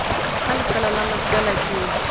ka lefeela la mafeela ke